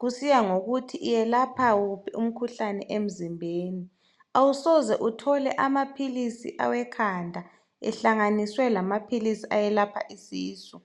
kusiya ngokuthi iyelapha wuphi umkhuhlane emzimbeni. Awusoze uthole amaphilisi awekhanda ehlanganiswe lamaphilisi ayelapha isisu.